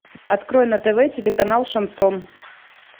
открой на тв телеканал шансон